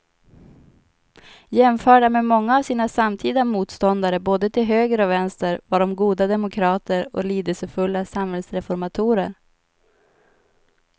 Jämförda med många av sina samtida motståndare både till höger och vänster var de goda demokrater och lidelsefulla samhällsreformatorer.